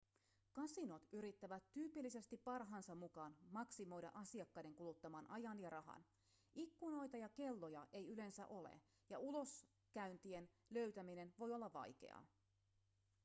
kasinot yrittävät tyypillisesti parhaansa mukaan maksimoida asiakkaiden kuluttaman ajan ja rahan ikkunoita ja kelloja ei yleensä ole ja uloskäyntien löytäminen voi olla vaikeaa